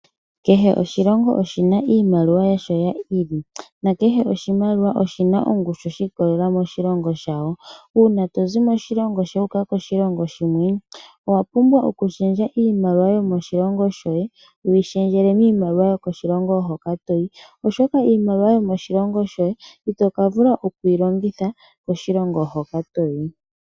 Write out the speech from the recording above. Kehe oshilongo oshi na iimaliwa yasho yi ili nakehe oshimaliwa oshi na ongushu yasho shi ikolela moshilongo shawo. Uuna to zi moshilongo shoye wu uka moshilongo shilwe owa pumbwa okushendja iimaliwa yomoshilongo shoye wu yi shendjele miimaliwa yomoshilongo shoka to yi, oshoka iimaliwa ito ka vula okuyi longitha koshilongo hoka to yi.